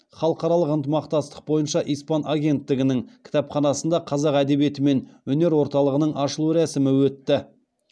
халықаралық ынтымақтастық бойынша испан агенттігінің кітапханасында қазақ әдебиеті мен өнер орталығының ашылу рәсімі өтті